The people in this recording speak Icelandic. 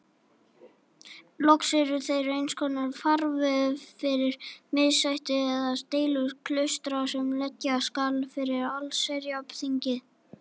Loks eru þeir einskonar farvegur fyrir missætti eða deilur klaustra sem leggja skal fyrir allsherjarþingið.